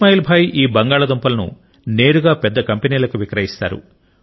ఇస్మాయిల్ భాయ్ ఈ బంగాళాదుంపలను నేరుగా పెద్ద కంపెనీలకు విక్రయిస్తారు